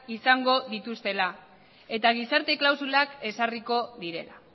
izango dituztela eta gizarte klausulak ezarriko direla